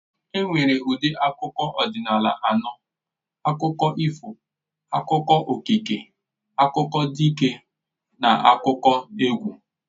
E nwere ụdị akụkọ ọdịnala anọ. Akụkọ ifo, akụkọ okike, akụkọ dike, n'akụkọneegwụ